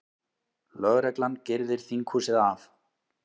Lögreglan girðir þinghúsið af